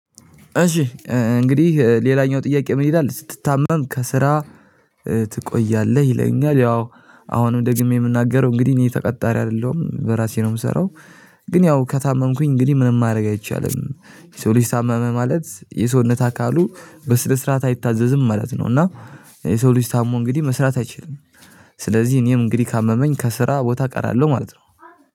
እሺ እንግዲህ ሌላኛው ጥያቄ ምን ይላል? ስትታመም ከስራ ትቆያለህ ይለኛል ያው አሁንም ደግሜ የምናገረው እንግዲህ እኔ ተቀጣሪ አይደለሁም በራሴ ነው የምሰራው። ግን ያው ከታመምኩኝ እንግዲህ ምንም ማድረግ አይቻልም የሰው ልጅ ታመመ ማለት የሰውነት አካሉ በስነ ስርዓት አይታዘዝም ማለት ነው። እና የሰው ልጅ ታሞ እንግዲህ መስራት አይችልም። ስለዚህ እኔም እንግዲህ ካመመኝ ከስራ ቦታ እቀራለሁ ማለት ነው።